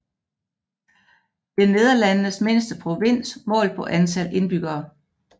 Det er Nederlandenes mindste provins målt på antal indbyggere